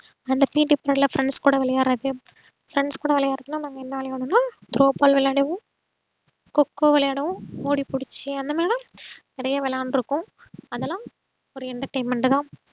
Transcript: அந்த PET period ல friends க்கூட விளையாடறது friends க்கூட விளையாடுறதுன்னா நாங்க என்ன விளையாடுவோனா throw ball விளையாடுவோம் கோ கோ விளையாடுவோம் ஓடிப்புடிச்சு அந்தமாறி லா நறைய விளையான்றுக்கோம் அதுலாம் ஒரு entertainment தான்.